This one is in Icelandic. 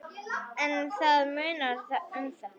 En það munar um þetta.